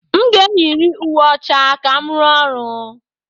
M ga-eyiri uwe ọcha ka m rụọ ọrụ.